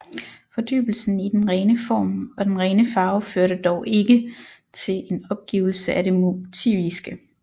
Fordybelsen i den rene form og den rene farve førte dog ikke til en opgivelse af det motiviske